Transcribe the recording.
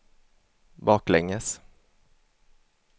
baklänges